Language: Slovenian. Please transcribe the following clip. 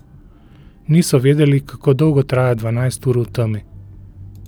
Niso vedeli, kako dolgo traja dvanajst ur v temi.